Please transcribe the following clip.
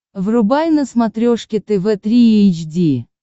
врубай на смотрешке тв три эйч ди